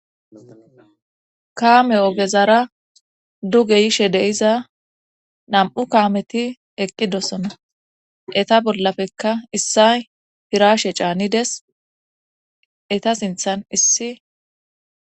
kaame ogezara duge yishe de'iza nam7u kaameti eqqidosona eta bollafekka issay firashe caanides eta sinthan issi